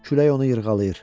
Külək onu yırğalayır.